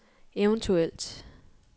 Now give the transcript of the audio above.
eventuelt